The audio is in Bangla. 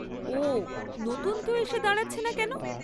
ওঃ, নতুন কেউ এসে দাঁড়াচ্ছে না কেন?